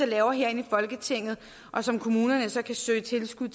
laves herinde i folketinget og som kommunerne så kan søge tilskud